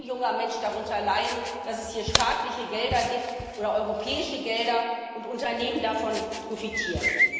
Es soll kein junger Mensch darunter leiden, dass es hier staatliche Gelder oder europäische Gelder gibt und Unternehmen davon profitieren.